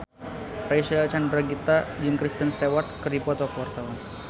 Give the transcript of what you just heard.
Reysa Chandragitta jeung Kristen Stewart keur dipoto ku wartawan